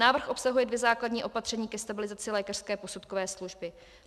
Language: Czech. Návrh obsahuje dvě základní opatření ke stabilizaci lékařské posudkové služby.